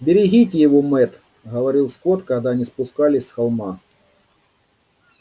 берегите его мэтт говорил скотт когда они спускались с холма